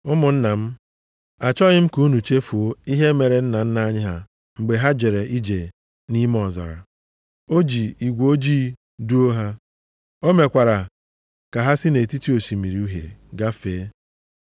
Ụmụnna m, achọghị m ka unu chefuo ihe mere nna nna anyị ha mgbe ha jere ije nʼime ọzara. O ji igwe ojii duo ha. O mekwara ka ha si nʼetiti Osimiri Uhie gafee.